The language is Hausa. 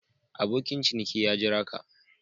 Abokin ciniki ya Jira ka.